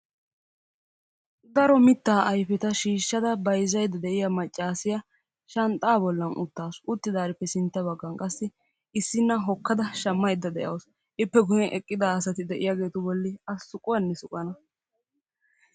Daro mittaa ayifeta shiishshada bayizzayidda de'iya maccaasiya shanxxaa bollan uttaasu. Uttidaarippe sintta baggan qassi issinna hokkada shammayidda de'awusu. Ippe guyyen eqqida asati de'iyageetu bolli a suquwanne suqana.